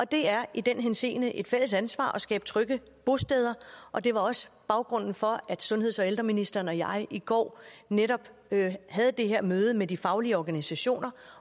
det er i den henseende et fælles ansvar at skabe trygge bosteder og det var også baggrunden for at sundheds og ældreministeren og jeg i går netop havde det her møde med de faglige organisationer